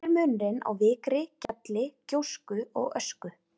Hver er munurinn á vikri, gjalli, gjósku og ösku?